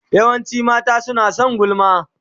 Yawancin mata suna son gulma.